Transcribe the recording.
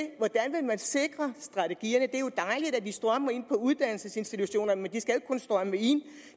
vil man sikre strategierne det er jo dejligt at de strømmer ind på uddannelsesinstitutionerne men de skal ikke kun strømme ind